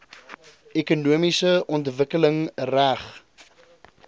ekonomiese ontwikkeling reg